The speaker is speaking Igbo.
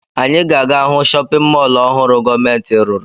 Anyị ga-aga hụ chọpịn mọọlụ ọhụrụ gọọmentị rụrụ.